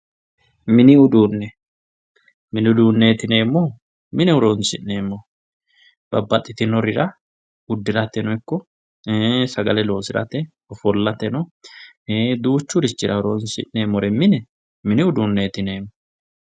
mini uduune mini uduuneeti yineemohu mine horonsi'neemoho babbadhitinorira uddirateno ikko sagale loosirateno ofollateno duuchurichira horonsi'neemore mine mini uduuneeti yineemo